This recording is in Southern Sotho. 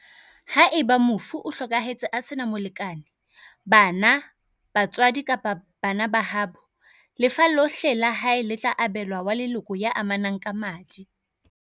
Haeba mofu o hlokahetse a sena molekane, bana, ba tswadi kapa bana ba haabo, lefa lohle la hae le tla abe lwa wa leloko ya amanang ka madi.